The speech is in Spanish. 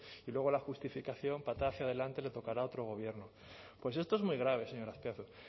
y luego la justificación patada hacia adelante le tocará a otro gobierno pues esto es muy grave señor azpiazu